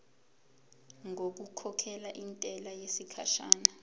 ngokukhokhela intela yesikhashana